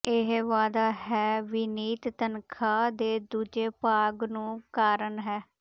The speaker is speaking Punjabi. ਇਹ ਵਾਅਦਾ ਹੈ ਵਿਨੀਤ ਤਨਖਾਹ ਦੇ ਦੂਜੇ ਭਾਗ ਨੂੰ ਕਾਰਨ ਹੈ